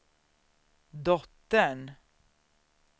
dottern